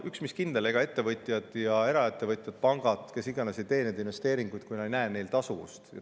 Ja üks, mis kindel: ega ettevõtjad, eraettevõtjad, pangad, kes iganes, ei tee investeeringuid, kui nad ei näe neil tasuvust.